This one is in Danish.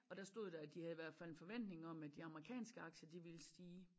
Og der stod der at de havde i hvert fald en forventning om at de amerikanske aktier de ville stige